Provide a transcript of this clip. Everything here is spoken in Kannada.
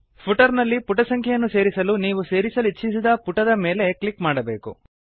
ಫುಟರ್ ನಲ್ಲಿ ಪುಟ ಸಂಖ್ಯೆಯನ್ನು ಸೇರಿಸಲು ನೀವು ಸೇರಿಸಲಿಚ್ಛಿಸಿದ ಪುಟದ ಮೇಲೆ ಕ್ಲಿಕ್ ಮಾಡಬೇಕು